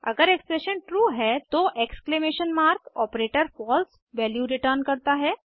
अगर expression true है तो exclamation mark operator false value return करता है